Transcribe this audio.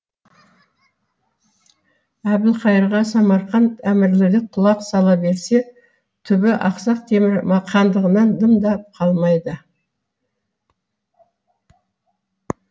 әбілқайырға самарқант әмірлігі құлақ сала берсе түбі ақсақ темір хандығынан дым да қалмайды